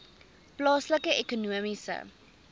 plaaslike ekonomiese